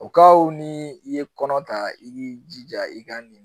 O kaw ni i ye kɔnɔ ta i k'i jija i ka nin